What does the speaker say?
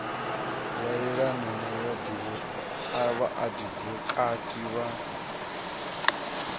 ya yelana na vhaadivokati na